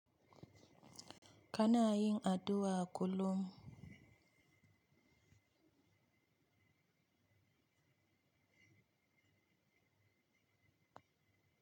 Kana yin aduwa kullum.